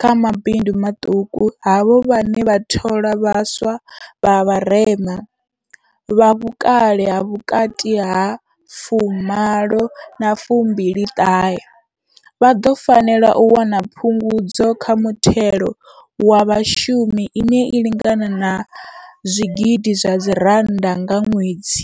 kha mabindu maṱuku, havho vhane vha thola vha swa vha vharema, vha vhukale ha vhukati ha 18 na 29, vha ḓo fanela u wana phungudzo kha muthelo wa vhashumi ine ya lingana R1 000 nga ṅwedzi.